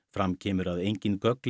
fram kemur að engin gögn